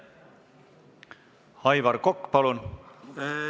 Aivar Kokk, palun!